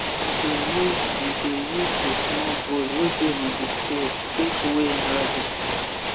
we dey use the dey use the small bowl wey dey on the scale take weigh rabbit